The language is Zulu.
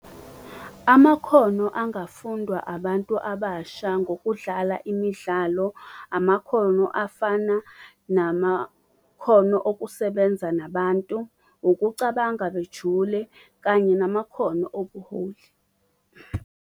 Amakhono angafundwa abantu abasha ngokudlala imidlalo, amakhono afana namakhono okusebenza nabantu, ukucabanga bejule kanye namakhono obuholi.